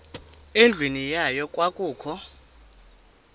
endlwini yayo kwakukho